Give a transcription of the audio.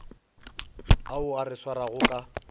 ao a re swarago ka